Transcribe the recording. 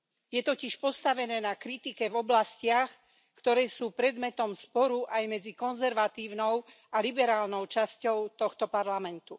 Je totiž postavené na kritike v oblastiach, ktoré sú predmetom sporu aj medzi konzervatívnou a liberálnou časťou tohto Parlamentu.